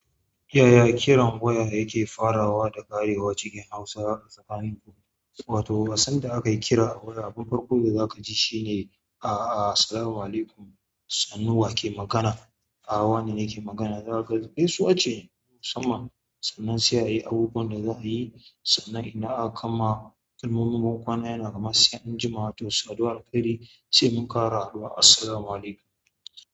Yaya kiran waya yake farawa da ƙarewa cikin Hausa a tsakaninku? Wato asanda aka yi kira a waya abun farko da za ka ji shine "A'a, assalamu'alaikum, sannu wa ke magana? A'a, wane ne ke magana?" Za ka gaisuwa ce musamman sannan sai a yi abubuwan da za a yi sannan in aka kammala, kalmomin bankwana yana kamar sai an jima to saduwar alkairi sai mun ƙare haɗuwa "Assalamu'alaikum".